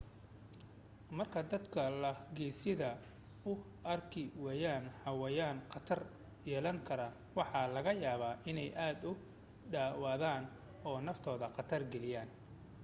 marka dadku lo' gesida u arki waayaan xayawaan khatar yeelan kara waxa laga yaabaa inay aad ugu dhawaadaan oo naftooda khatar geliyaan